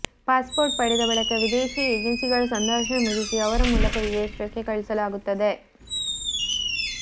passport ಪಡೆದ ಬಳಿಕ ವಿದೇಶಿ ಏಜೆನ್ಸಿಗಳ ಸಂದರ್ಶನ ಮುಗಿಸಿ ಅವರ ಮೂಲಕ ವಿದೇಶಕ್ಕೆ ಕಳುಹಿಸಲಾಗುತ್ತದೆ